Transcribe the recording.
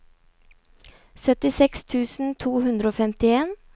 syttiseks tusen to hundre og femtien